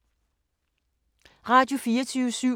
Radio24syv